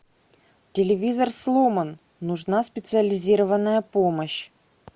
телевизор сломан нужна специализированная помощь